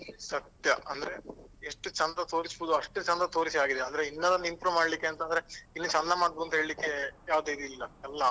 ಸತ್ಯ ಅಂದ್ರೆ ಎಷ್ಟು ಚಂದ ತೋರಿಸ್ಬೋದು ಅಷ್ಟು ಚಂದ ತೋರಿಸಿ ಆಗಿದೆ ಇನ್ನು ಅದನ್ನು improve ಮಾಡ್ಲಿಕ್ಕೆ ಎಂತ ಅಂದ್ರೆ ಇನ್ನು ಚಂದ ಮಾಡುದು ಅಂತ ಹೇಳಿಕ್ಕೆ ಯಾವ್ದು ಇದು ಇಲ್ಲ ಎಲ್ಲ.